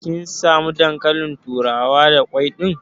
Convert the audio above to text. Kin samu dankalin turawa da kwai ɗin?